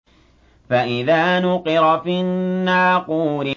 فَإِذَا نُقِرَ فِي النَّاقُورِ